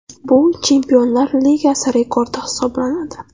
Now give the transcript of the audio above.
Bu Chempionlar Ligasi rekordi hisoblanadi .